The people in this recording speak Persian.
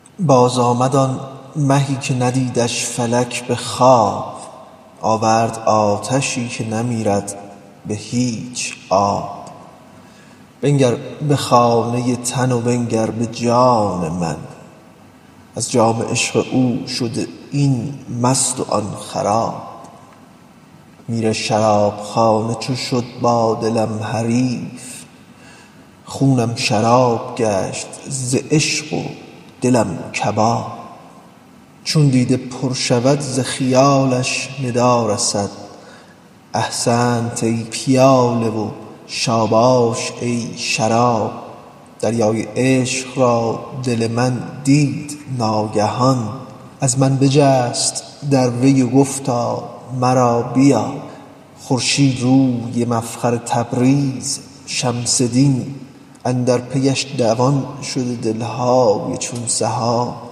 بازآمد آن مهی که ندیدش فلک به خواب آورد آتشی که نمیرد به هیچ آب بنگر به خانه تن و بنگر به جان من از جام عشق او شده این مست و آن خراب میر شرابخانه چو شد با دلم حریف خونم شراب گشت ز عشق و دلم کباب چون دیده پر شود ز خیالش ندا رسد احسنت ای پیاله و شاباش ای شراب دریای عشق را دل من دید ناگهان از من بجست در وی و گفتا مرا بیاب خورشیدروی مفخر تبریز شمس دین اندر پیش دوان شده دل های چون سحاب